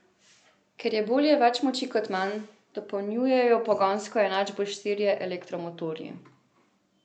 Ker je bolje več moči kot manj, dopolnjujejo pogonsko enačbo štirje elektromotorji.